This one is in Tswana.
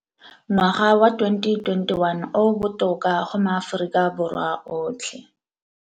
Ngwaga wa 2021 o o botoka go maAforika Borwa otlhe.